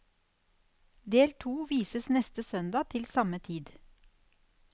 Del to vises neste søndag til samme tid.